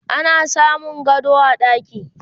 ana samun gado a ɗaki